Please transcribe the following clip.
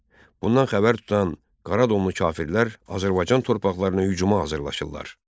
Bundan xəbər tutan qara domlu kafirlər Azərbaycan torpaqlarına hücuma hazırlaşırlar.